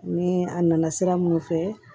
Ni a nana sira minnu fɛ